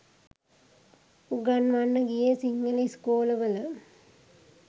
උගන්වන්න ගියේ සිංහල ඉස්කෝලවල